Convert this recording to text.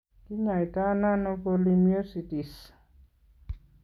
Kiny'aayto nano polymyositis?